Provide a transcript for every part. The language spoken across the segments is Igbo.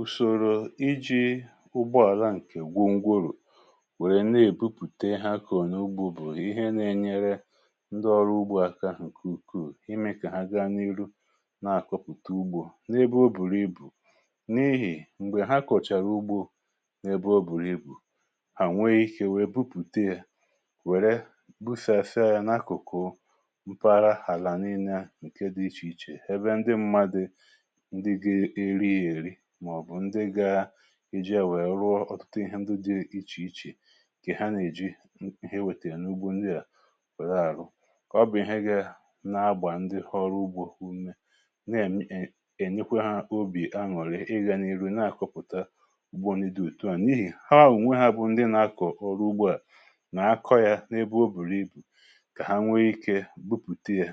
ùsòrò iji̇ ụgbọàlà ǹkè gwụọ ngwụrụ̀ nwèrè na-èbupùte ha kà ọ̀ nà ugbȯ bụ̀ ihe na-ènye ndị ọrụ ugbȯ aka ǹkè ukwuù, imė kà ha gaa n’ihu na-akọ̀pụ̀ta ugbò n’ebe o bùrì ibù n’ihì m̀gbè ha kọ̀chàrà ugbȯ n’ebe o bùrì ibù, à nwèè ikė nwèe bupùte yȧ, wèrè busịa asịa yȧ n’akụ̀kụ̀. Àlà niile à, ǹkè dị iche iche eji à nwèe, rụrụ̀ ọtụtụ ndị dị iche iche kà ha nà-èji ihe wetà yȧ n’ugbò. Ndị à kwètà àrụ̇ ọ bụ̀ ihe gà na-agbà ndị ọrụ ugbȯ ume, na-ènye kwe ha obì aṅụ̀lị̀ ị gà n’ihu na-akọ̀pụ̀ta ugbò. Nè dị òtù à, n’ihì ha nwèrè onwe ha bụ̀ ndị nà-akọ̀ ọrụ ugbȯ, à nà-akọ̇ yà n’ebe o bùrù ibù kà ha nwèè ikė bupùte yȧ,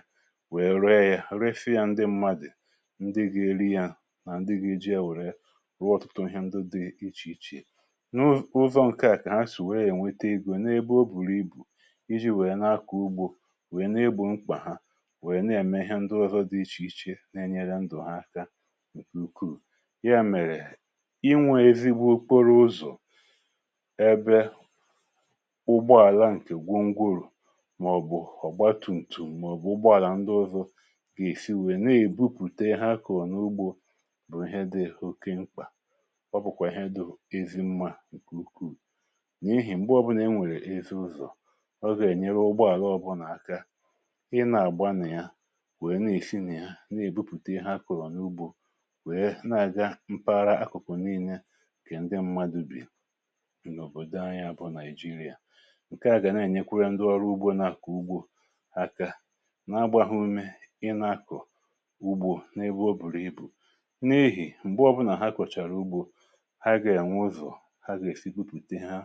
nwèe ree yȧ, refya ndị mmadụ̀ ndị gà-èri yȧ, rụọ ọtụtụ ndụ dị iche iche n’ụzọ ǹkè à, kà ha sì wèe ènwetè egò n’ebe o bùrù ibù. Iji̇ wèe nà-akọ̀ ugbȯ, wèe nà ibù mkpà ha, wèe nà-ème ihe ndị ọzọ dị iche iche na-ènye ndụ̀ ha aka ǹkè ukwuù. Yà mèrè inwė ezigbo kporo ụzọ̀, ebe ụgbọàlà ǹkè gwongwurù, màọ̀bụ̀ ọ̀gba tumtù, màọ̀bụ̀ ụgbọàlà ndị ọzọ gà-èsi wèe na-èbupùte ha kà n’ugbȯ, ọ bụ̀kwà ihe dị ezi mmȧ ǹkè ukwuù. N’ihì m̀gbè ọbụnà e nwèrè ezi ụzọ̀, ọ gà-ènyere ụgbọàlà, ọ bụrụ nà aka ị nà-àgba nà ya wèe na-èshi nà ya na-èbupùta ihe akụ̀rụ̀ n’ugbȯ, wèe na-àga mpaghara akụ̀kụ̀, nii̇nye kà ndị mmadụ̇ bì n’òbòdò anyị abụọ Naịjirịa. ǹkè à gà na-ènyekwara ndị ọrụ ugbȯ na-àkọ̀ ugbȯ aka, n’agbaghụ imė ị na-akụ̀ ugbȯ n’ebe o bùrù ibù, ha gà-ènwe ụzọ̀ ha gà-èfikupùte ha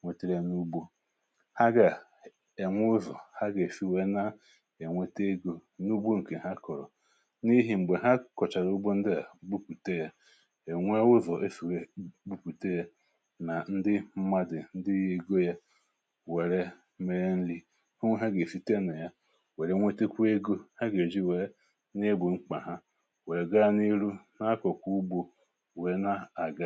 nwètèrè n’ugbȯ ha, gà-ènwe ụzọ̀ ha gà-èfì. Nwèrè na-ènwète egò n’ugbȯ ǹkè ha kọ̀rọ̀, n’ihì m̀gbè ha kọ̀chàrà ugbȯ ndị à bupùte yȧ, è nwè ụzọ̀ efì wè bupùte yȧ, nà ndị mmadụ̀ ndị egò yȧ wèrè mee nri, fụnwe ha gà-èfiti à nà ya, wèrè nwètèkwà egò ha gà-èjì wèe nà-ègbù mkpà ha, wèe na-àga.